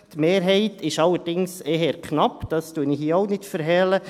Die Mehrheit ist allerdings eher knapp, das verhehle ich hier auch nicht.